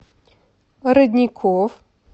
родников